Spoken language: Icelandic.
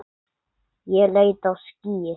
Ég leit á skýið.